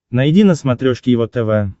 найди на смотрешке его тв